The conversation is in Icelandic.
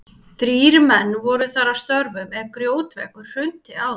Þrír menn voru þar að störfum er grjótveggur hrundi á þá.